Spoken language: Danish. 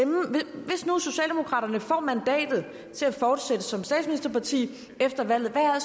hvis nu socialdemokraterne får mandatet til at fortsætte som statsministerparti efter valget hvad er